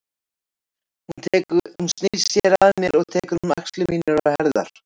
Hún snýr sér að mér og tekur um axlir mínar og herðar.